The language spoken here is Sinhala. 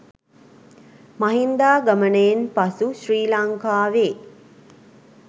මහින්දාගමනයෙන් පසු ශ්‍රී ලංකාවේ